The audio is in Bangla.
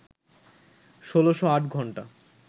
১৬০৮ ঘণ্টা